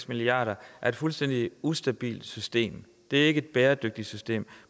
milliarder er et fuldstændig ustabilt system det er ikke et bæredygtigt system